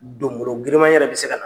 Donmologirima yɛrɛ bɛ se ka na.